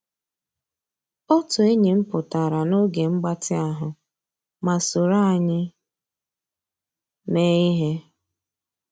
Ótú ényí m pụ́tárá n'ògé mgbàtị́ ahụ́ má sòró ànyị́ meé íhé.